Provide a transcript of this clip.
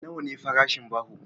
Nawa ne farashin baho?